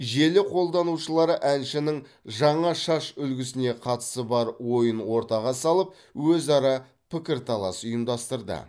желі қолданушылары әншінің жаңа шаш үлгісіне қатысты бар ойын ортаға салып өзара пікірталас ұйымдастырды